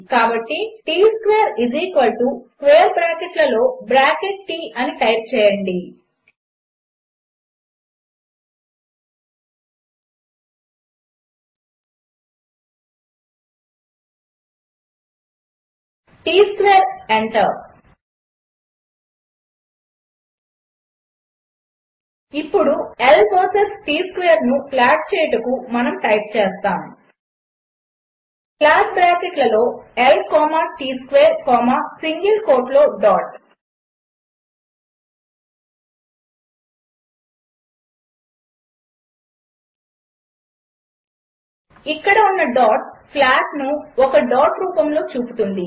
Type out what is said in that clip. కాబట్టి T square square బ్రాకెట్లలో bracket T అని టైప్ చేయండి T స్క్వేర్ ఎంటర్ ఇప్పుడు L వర్సెస్ T స్క్వేర్ను ప్లాట్ చేయుటకు మనము టైప్ చేస్తాము ప్లాట్ బ్రాకెట్లలో L comma T square comma single కోట్లో డాట్ ఇక్కడ ఉన్న డాట్ ప్లాట్ను ఒక డాట్ రూపములో చూపుతుంది